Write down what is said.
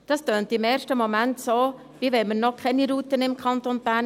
Das klingt im ersten Moment, als hätten wir noch keine Routen im Kanton Bern.